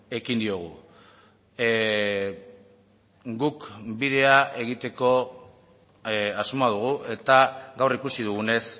ekin diogu guk bidea egiteko asmoa dugu eta gaur ikusi dugunez